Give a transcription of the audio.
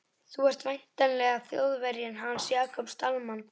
Þú ert væntanlega Þjóðverjinn hans Jakobs Dalmann.